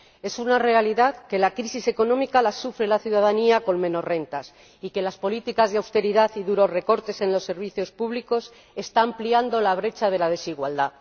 Es una realidad que la crisis económica la sufre la ciudadanía con menos renta y que las políticas de austeridad y duros recortes en los servicios públicos están ampliando la brecha de la desigualdad.